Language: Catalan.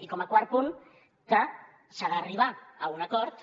i com a quart punt que s’ha d’arribar a un acord